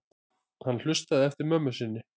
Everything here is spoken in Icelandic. Hann hlustaði eftir mömmu sinni.